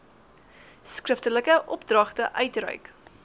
skriftelike opdragte uitreik